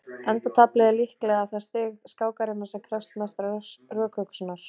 endataflið er líklega það stig skákarinnar sem krefst mestrar rökhugsunar